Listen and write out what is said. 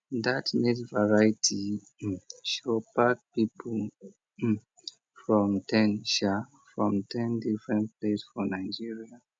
that maize variety um show pack people um from ten um from ten different place for nigeria